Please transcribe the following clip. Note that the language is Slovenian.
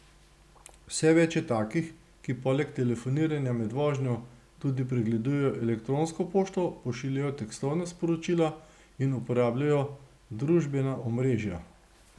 Vse več je takih, ki poleg telefoniranja med vožnjo tudi pregledujejo elektronsko pošto, pošiljajo tekstovna sporočila in uporabljajo družbena omrežja.